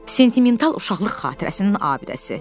Sentimental uşaqlıq xatirəsinin abidəsi.